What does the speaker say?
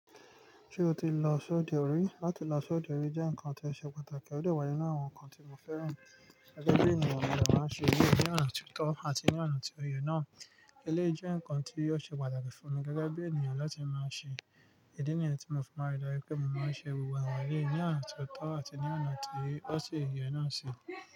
Ṣé o ti lọ sọ́dọ̀ rí? Látí lọ sọ́dọ̀ rí jẹ́ nǹkan tó ṣe pàtàkì. Òde wá ninu àwọn nǹkan tí mo fẹ́ràn gẹ́gẹ́ bí ènìyàn mo dè máa ṣe eyí ní ona tí ọ̀tọ̀ àti ní oǹa tí oyè náà. Eléyi je nǹkan tí ó ṣe pàtàkì fún mi gẹ́gẹ́ bí ènìyàn láti máa ṣe ìdí nìyẹn tí mo fi ma n ridáju wipé mo máa ṣe gbogbo àwọn elèyí ní onà tí ọ̀tọ̀ àti ní onà tí ó sì yẹ náà si.